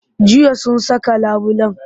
Jiya sun saka labulen?